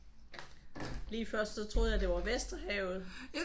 Lige før så troede jeg det var Vesterhavet